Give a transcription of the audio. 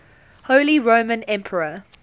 holy roman emperor